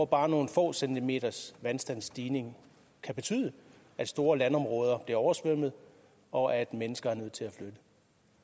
bare nogle få centimeters vandstandsstigning betyde at store landområder bliver oversvømmet og at mennesker er nødt til at flytte